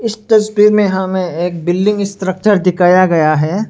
तस्वीर में हमे एक बिल्डिंग स्ट्रक्चर दिखाया गया है।